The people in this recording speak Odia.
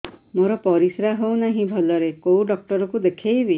ମୋର ପରିଶ୍ରା ହଉନାହିଁ ଭଲରେ କୋଉ ଡକ୍ଟର କୁ ଦେଖେଇବି